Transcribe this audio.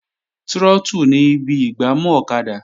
Trọ́tù ni ibi ìgbámú ọ̀kadà